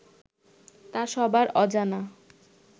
তা সবার অজানা